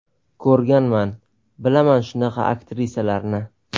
Ko‘rganman, bilaman shunaqa aktrisalarni.